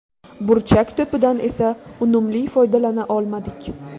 Burchak to‘pidan esa unumli foydalana olmadik.